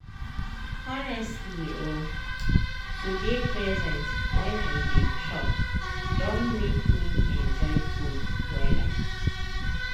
honestly o to dey present when i dey chop don make me enjoy food wella.